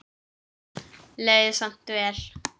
Leið samt vel.